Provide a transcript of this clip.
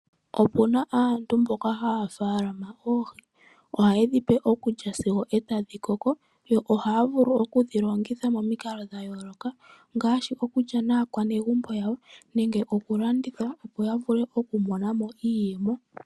Opu na aantu mboka haya tekula oohi, ohaye dhipe okulya sigo tadhi koko yo ohaya vulu okudhi longitha momikalo dhayooloka ngaashi okulya nakwanegumbo lyawo nenge okulanditha opo ya vule okumona mo iiyemo.